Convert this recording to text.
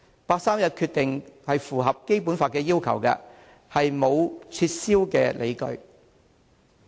八三一決定符合《基本法》的要求，並沒有撤銷的理由。